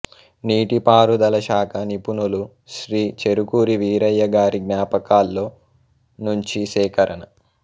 నీటిపారుదల శాఖ నిపుణులు శ్రీ చెరుకూరి వీరయ్య గారి జ్ఞాపకాల్లో నుంచీ సేకరణ